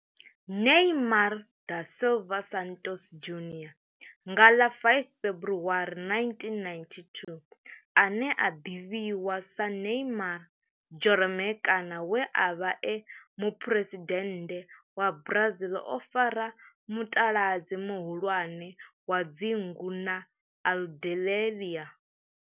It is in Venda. Neymar da Silva Santos Junior nga ḽa 5 February 1992, ane a ḓivhiwa sa Neymar Jeromme kana we a vha e muphuresidennde wa Brazil o fara mutaladzi muhulwane wa dzingu na Aludalelia.